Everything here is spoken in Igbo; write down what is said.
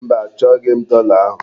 Mba, achọghị m dọla ahụ.